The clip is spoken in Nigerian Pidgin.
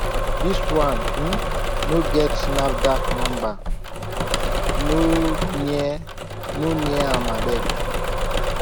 this one um no get nafdac number no near no near am abeg